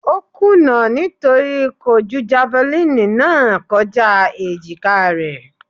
Ó kùnà nítorí kò ju javalínì náà kọjá èjìkáa rẹ̀.